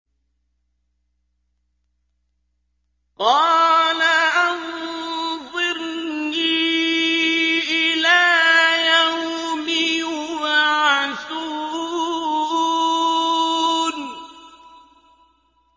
قَالَ أَنظِرْنِي إِلَىٰ يَوْمِ يُبْعَثُونَ